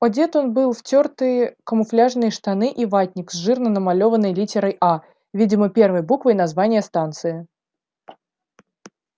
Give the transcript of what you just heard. одет он был в тёртые камуфляжные штаны и ватник с жирно намалёванной литерой а видимо первой буквой названия станции